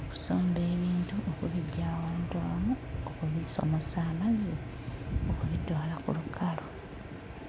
okusomba ebintu okubiggya awantu awamu okubisomosa amazzi okubitwala ku lukalu.